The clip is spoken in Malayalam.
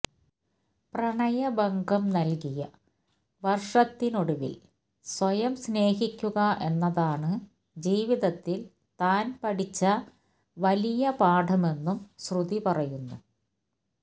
പ്രണയഭംഗം നല്കിയ വര്ഷത്തിനൊടുവില് സ്വയം സ്നേഹിക്കുക എന്നതാണ് ജീവിതത്തില് താന് പഠിച്ച വലിയ പാഠമെന്നും ശ്രുതി പറയുന്നു